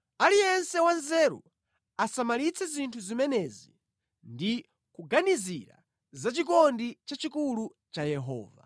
Aliyense wanzeru asamalitse zinthu zimenezi ndi kuganizira za chikondi chachikulu cha Yehova.